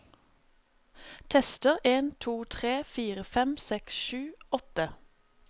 Tester en to tre fire fem seks sju åtte